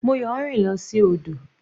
Moyo rìn lọ sí odò.